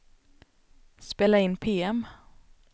spela in PM